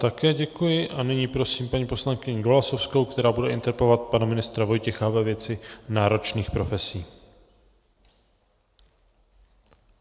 Také děkuji a nyní prosím paní poslankyni Golasowskou, která bude interpelovat pana ministra Vojtěcha ve věci náročných profesí.